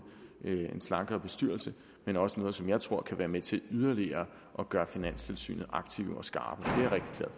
en slankere bestyrelse men også noget som jeg tror kan være med til yderligere at gøre finanstilsynet aktive og skarpe